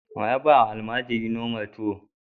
Wa ya ba wa almajiri lomar tuwo?